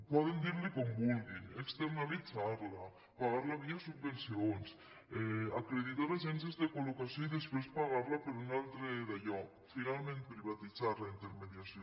poden dir li com vulguin externalitzar la pagar la via subvencions acreditar agències de collocació i després pagar la per un altre dallò finalment privatitzar la intermediació